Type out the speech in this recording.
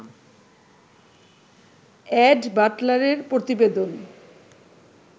add বাটলারের প্রতিবেদন